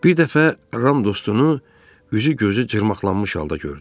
Bir dəfə Ram dostunu üzü gözü cırmaqlanmış halda gördü.